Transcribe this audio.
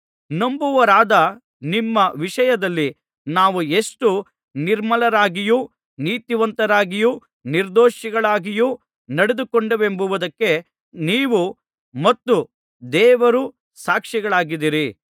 ನಂಬುವವರಾದ ನಿಮ್ಮ ವಿಷಯದಲ್ಲಿ ನಾವು ಎಷ್ಟೋ ನಿರ್ಮಲರಾಗಿಯೂ ನೀತಿವಂತರಾಗಿಯೂ ನಿರ್ದೋಷಿಗಳಾಗಿಯೂ ನಡೆದುಕೊಂಡೆವೆಂಬುದಕ್ಕೆ ನೀವು ಮತ್ತು ದೇವರೂ ಸಾಕ್ಷಿಗಳಾಗಿದ್ದೀರಿ